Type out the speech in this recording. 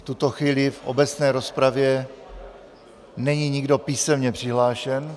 V tuto chvíli v obecné rozpravě není nikdo písemně přihlášen.